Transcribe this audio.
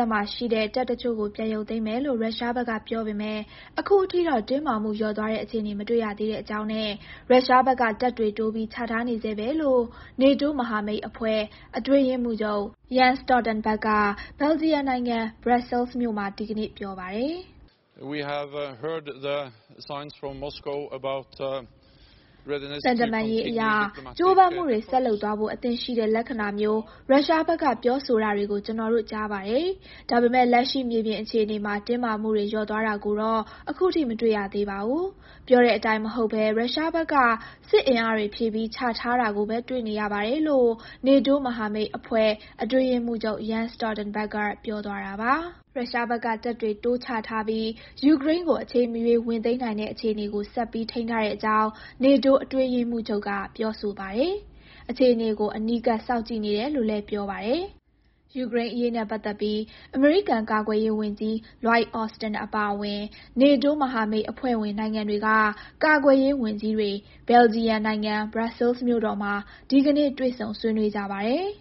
ပ်မှာရှိတဲ့ တပ်တချို့ကို ပြန်ရုပ်သိမ်းမယ်လို့ ရုရှားဘက်ကပြောပေမယ့် အခုအထိတော့ တင်းမာမှု လျော့သွားတဲ့ အခြေအနေ မတွေ့ရသေးကြောင်းနဲ့ ရုရှားဘက်က တပ်တွေတိုးပြီး ချထားနေဆဲပဲလို့ နေတိုးမဟာမိတ်အဖွဲ့ အတွင်းရေးမှူးချုပ် Jens Stoltenberg က ဘယ်လ်ဂျီယံနိုင်ငံ ဘရပ်ဆဲလ်စ်မြို့မှာ ဒီကနေ့ပြောပါတယ်။ “သံတမန်ရေးအရ ကြိုးပမ်းမှုတွေ ဆက်လုပ်သွားဖို့ အဆင့်သင့်ရှိတဲ့လက္ခဏာမျိုး ရုရှားဘက်က ပြောဆိုတာတွေကို ကျနော်တို့ ကြားပါတယ်။ ဒါပေမဲ့ လက်ရှိ မြေပြင်အခြေအနေမှာ တင်းမာမှုတွေ လျော့သွားတာကိုတော့ အခုထိ မတွေ့ရသေးပါဘူး။ ပြောတဲအတိုင်းမဟုတ်ဘဲ ရုရှားဘက်က စစ်အင်အားတွေ ဖြည့်ပြီး ချထားတာကိုပဲ တွေ့နေရပါတယ်လို့ နေတိုး မဟာမိတ်အဖွဲ့ အတွင်းရေးမှူးချုပ် Jens Stoltenberg က ပြောသွားတာပါ။ ရုရှားဘက်က တပ်တွေတိုးချထားပြီး ယူကရိန်းကို အချိန်မရွေး ဝင်သိမ်းနိုင်တဲ့အခြေအနေကို ဆက်ပြီး ထိန်းထားတဲ့အကြောင်း နေတိုးအတွင်းရေးမှူးချုပ် Jens Stoltenberg က ပြောဆိုပါတယ်။ အခြေအနေကို အနီးကပ် စောင့်ကြည့်နေတယ်လို့လည်း ပြောပါတယ်။ ယူကရိန်းအရေးနဲ့ပတ်သက်ပြီး အမေရိကန် ကာကွယ်ရေးဝန်ကြီး Lloyd Austin အပါအဝင် NATO မဟာမိတ် အဖွဲ့ဝင်နိုင်ငံတွေက ကာကွယ်ရေးဝန်ကြီးတွေ ဘယ်လဂျီယံနိုင်ငံ ဘရပ်ဆဲလ်မြို့တော်မှာ ဒီကနေ့တွေ့ဆုံ ဆွေးနွေးကြပါတယ်။